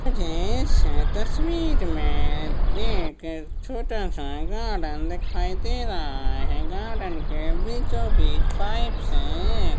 मुझे इस तस्वीर मे एक छोटासा गार्डन दिखाई दे रहा है गार्डन के बिछो बीच पाइप से ए--